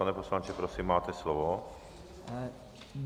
Pane poslanče, prosím, máte slovo.